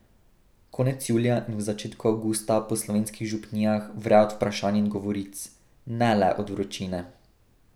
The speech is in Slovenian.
Konec julija in v začetku avgusta po slovenskih župnijah vre od vprašanj in govoric, ne le od vročine.